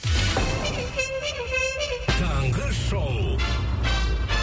таңғы шоу